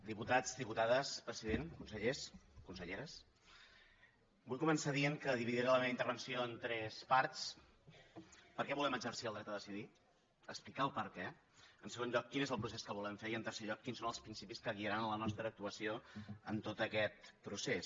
diputats diputades president consellers conselleres vull començar dient que dividiré la meva intervenció en tres parts per què volem exercir el dret a decidir explicar el perquè en segon lloc quin és el procés que volem fer i en tercer lloc quins són els principis que guiaran la nostra actuació en tot aquest procés